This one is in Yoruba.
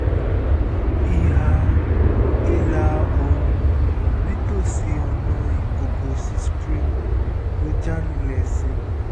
ìhà ìlà-oòrùn nítòsí ọ̀nà ikogosi springs ló já lulẹ̀ sí